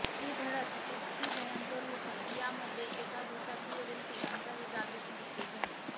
ही धडक इतकी भयंकर होती की यामध्ये एका दुचाकीवरील तिघांचाही जागीच मृत्यू झाला